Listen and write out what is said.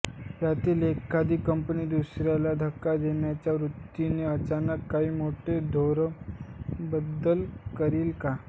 यातील एखादी कंपनी दुसरीस धक्का देण्याच्या वृत्तीने अचानक काही मोठे धोरणात्मक बदल करील का